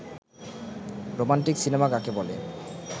romantic cinema কাকে বলে